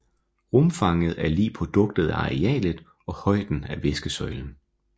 Rumfanget er lig produktet af arealet og højden af væskesøjlen